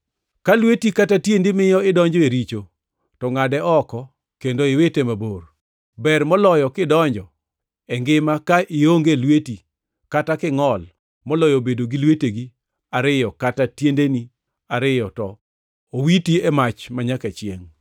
Ka lweti kata tiendi miyo idonjo e richo to ngʼade oko kendo iwite mabor. Ber moloyo kidonjo e ngima ka ionge lweti kata kingʼol moloyo bedo gi lwetegi ariyo kata tiendeni ariyo to owiti e mach manyaka chiengʼ.